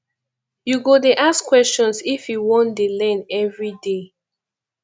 you go dey ask questions if you want dey learn everyday